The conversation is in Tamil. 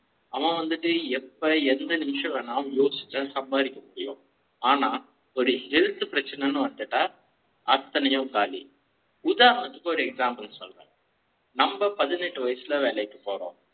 அவன் வந்து ட்டு எப்ப எது நிமிஷ ம் நான் யோசிச்சேன் சம்பாதிக்க முடியும். ஆனா ஒரு health பிரச்சனை ன்னு வந்துட்டா அத்தனை யும் காலி உதாரண த்துக்கு ஒரு example சொல்றேன்